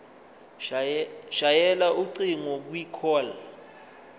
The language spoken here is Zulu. shayela ucingo kwicall